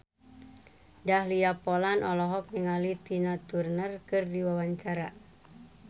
Dahlia Poland olohok ningali Tina Turner keur diwawancara